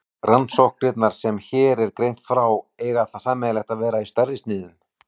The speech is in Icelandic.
Rannsóknirnar sem hér er greint frá eiga það sameiginlegt að vera stærri í sniðum.